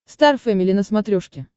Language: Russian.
стар фэмили на смотрешке